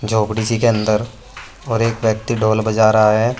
झोपडी सी के अंदर और एक व्यक्ति ढोल बजा रहा है।